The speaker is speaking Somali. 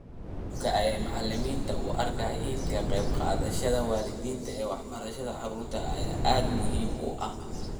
Habka ay macalimiintu u arkaan ka qayb qaadashada waalidiinta ee waxbarashada caruurtooda ayaa aad muhiim u ah